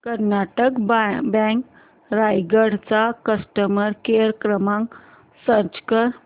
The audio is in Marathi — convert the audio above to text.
कर्नाटक बँक रायगड चा कस्टमर केअर क्रमांक सर्च कर